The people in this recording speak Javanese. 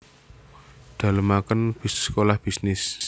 Dalemaken Sekolah Bisnis